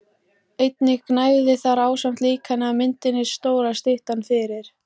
Einnig gnæfði þar ásamt líkani af myndinni stóra styttan fyrir